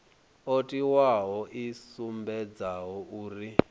o tiwaho i sumbedzaho uri